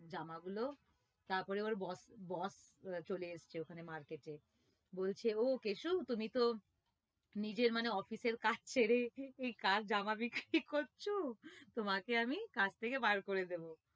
জামাগুলো তারপরে ওর boss boss চলে এসেছে ওখানে market এ বলছে ও কেশু তুমি তো নিজের মানে office এর কাজ ছেড়ে জামা বিক্রি করছো তোমাকে আমি কাজ থেকে বার করে দেব